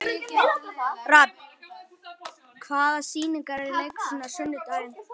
Rafn, hvaða sýningar eru í leikhúsinu á sunnudaginn?